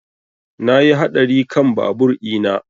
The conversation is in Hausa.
Na yi hatsari kan babur ina